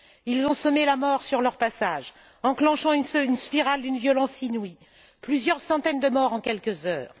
Ils ont semé la mort sur leur passage, enclenchant une spirale d'une violence inouïe plusieurs centaines de morts en quelques heures.